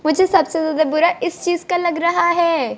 मुझे सबसे ज्यादा बुरा इस चीज का लग रहा हैं।